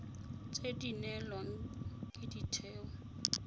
tse di neelwang ke ditheo